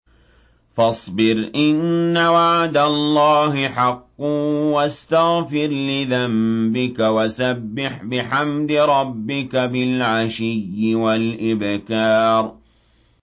فَاصْبِرْ إِنَّ وَعْدَ اللَّهِ حَقٌّ وَاسْتَغْفِرْ لِذَنبِكَ وَسَبِّحْ بِحَمْدِ رَبِّكَ بِالْعَشِيِّ وَالْإِبْكَارِ